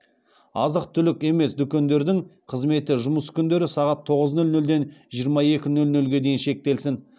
азық түлік емес дүкендердің қызметі жұмыс күндері сағат тоғыз нөл нөлден жиырма екі нөл нөлге дейін шектелсін